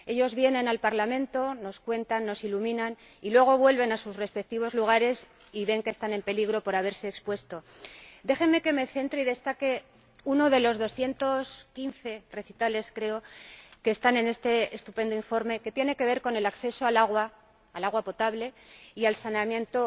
Ellos vienen al Parlamento, nos cuentan, nos iluminan, y luego vuelven a sus respectivos lugares y ven que están en peligro por haberse expuesto. Déjenme que me centre y destaque uno de los 215 apartados, creo, que están en este estupendo informe el que tiene que ver con el acceso al agua potable y al saneamiento